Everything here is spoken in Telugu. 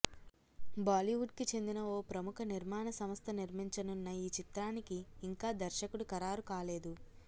బాలీవుడ్కి చెందిన ఓ ప్రముఖ నిర్మాణ సంస్థ నిర్మించనున్న ఈ చిత్రానికి ఇంకా దర్శకుడు ఖరారు కాలేదు